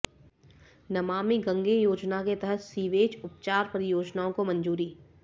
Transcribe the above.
नमामी गंगे योजना के तहत सीवेज उपचार परियोजनाओं को मंजूरी